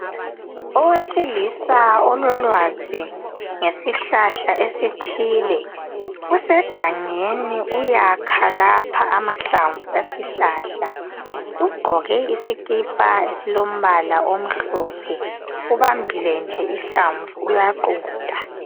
Owesilisa ololwazi ngesihlahla esithile usegangeni uyakha lapha amahlamvu esihlahla ugqoke isikipa esilombala omhlophe ubambile nje ihlamvu uyaqunta.